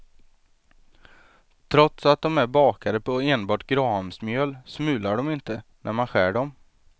Trots att de är bakade på enbart grahamsmjöl smular de inte, när man skär dem.